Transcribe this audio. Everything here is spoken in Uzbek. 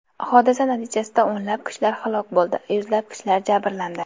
Hodisa natijasida o‘nlab kishilar halok bo‘ldi, yuzlab kishilar jabrlandi.